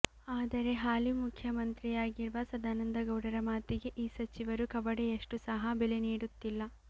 ಆದರೆ ಹಾಲಿ ಮುಖ್ಯ ಮಂತ್ರಿಯಾಗಿರುವ ಸದಾನಂದಗೌಡರ ಮಾತಿಗೆ ಈ ಸಚಿವರು ಕವಡೆಯಷ್ಟು ಸಹ ಬೆಲೆ ನೀಡುತ್ತಿಲ್ಲ